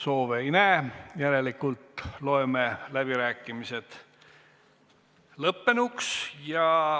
Soove ei näe, järelikult ma loen läbirääkimised lõppenuks.